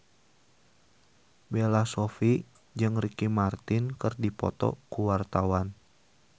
Bella Shofie jeung Ricky Martin keur dipoto ku wartawan